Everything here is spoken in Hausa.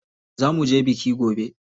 Za muje biki gobe.